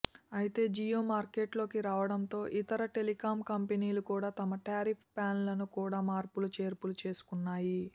అయితే జియో మార్కెట్లోకి రావడంతో ఇతర టెలికం కంపెనీలు కూడ తమ టారిఫ్ ప్లాన్లను కూడ మార్పులు చేర్పులు చేసుకొన్నాయి